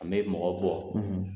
An bɛ mɔgɔ bɔ